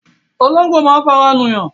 Ológbò máa ń fara nù yàn